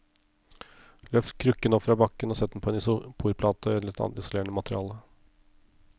Løft krukken opp fra bakken og sett den på en isoporplate eller annet isolerende materiale.